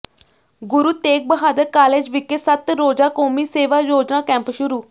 ਗੁਰੂ Tegh Bahadur college ਵਿਖੇ ਸੱਤ ਰੋਜ਼ਾ ਕੌਮੀ ਸੇਵਾ ਯੋਜਨਾ ਕੈਂਪ ਸ਼ੁਰੂ